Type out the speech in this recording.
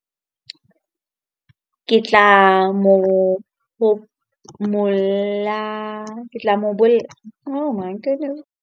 Ke tla mo ke tla mo .